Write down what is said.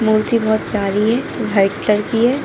मूर्ति बहोत प्यारी है वह एक लड़की हैं।